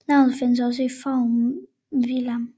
Navnet findes også i formen Villiam